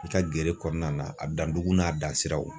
I ka gere kɔnɔna na a dandugu n'a dan siraw